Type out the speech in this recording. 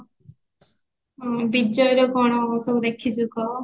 ବିଜୟର କଣ ସବୁ ଦେଖିଚୁ କହ